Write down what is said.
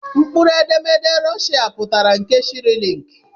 Mkpụrụedemede Rushia pụtara nke Sairilịịki